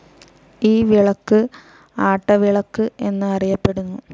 ഈ വിളക്ക് ആട്ടവിളക്ക് എന്ന്‌ അറിയപ്പെടുന്നു.